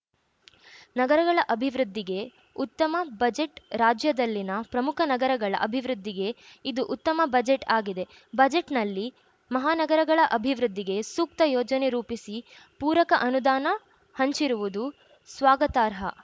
ನಗರಗಳ ಅಭಿವೃದ್ಧಿಗೆ ಉತ್ತಮ ಬಜೆಟ್‌ ರಾಜ್ಯದಲ್ಲಿನ ಪ್ರಮುಖ ನಗರಗಳ ಅಭಿವೃದ್ಧಿಗೆ ಇದು ಉತ್ತಮ ಬಜೆಟ್‌ ಆಗಿದೆ ಬಜೆಟ್‌ನಲ್ಲಿ ಮಹಾನಗರಳ ಅಭಿವೃದ್ಧಿಗೆ ಸೂಕ್ತ ಯೋಜನೆ ರೂಪಿಸಿ ಪೂರಕ ಅನುದಾನ ಹಂಚಿರುವುದು ಸ್ವಾಗತಾರ್ಹ